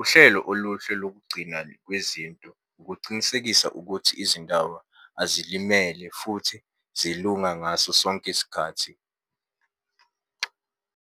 Uhlelo oluhle lokugcina kwezinto, ukucinisekisa ukuthi izindawo azilimele futhi zilunga ngaso sonke isikhathi.